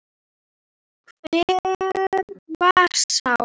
Hver var sá?